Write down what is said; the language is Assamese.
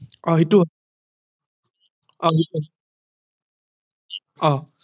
অহ সেইটো হয় অহ সেইটো হয় অহ